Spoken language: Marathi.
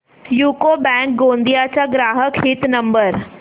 यूको बँक गोंदिया चा ग्राहक हित नंबर